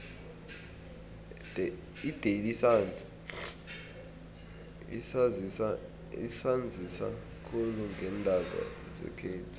idaily sun isanzisa khulu ngeendaba zekhethu